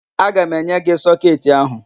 Aga m enye gị sọketị áhụ̀.